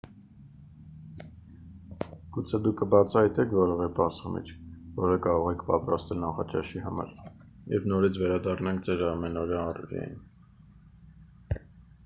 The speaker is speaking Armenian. գուցե դուք կբացահայտեք որևէ պարզ խմիչք որը կարող եք պատրաստել նախաճաշի համար երբ նորից վերադառնաք ձեր ամենօրյա առօրյային